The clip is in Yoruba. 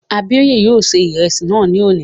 Abíóyè yóò ṣe ìrẹsì náà ní òní